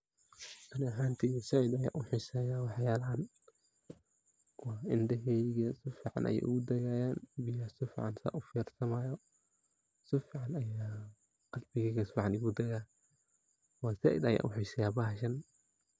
Ani ahanteyda zaid ayan u xiseyaa waxyalahan cindhaheyga si fican ayey igu dagayan, biyaha si fican san u firsanayo, si fican ayaan qalbigeyga ayaa si fican igu daagaa oo zaid ayan u xiseyaa bahashan.